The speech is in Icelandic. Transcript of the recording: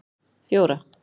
fjóra